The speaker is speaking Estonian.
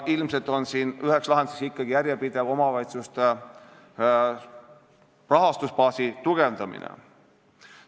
Ilmselt on üks lahendus järjepidev omavalitsuste rahastusbaasi tugevdamine.